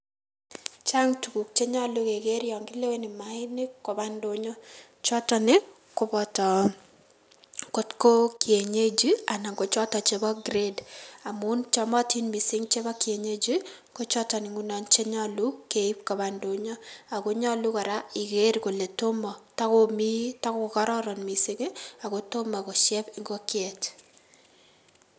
Chang tuguk chenyolu keker yon kileweni maainik keib kobaa indonyo, choton ii koboto kotkoo kienyeji anan kochoton chebo kret amun chomotin misink chebo kienyeji kochoton chenyolu keib kobaa indonyo, ako nyolu koraa iker ile tomo tokomii tokokororon ako tomo kosieb ingokiet.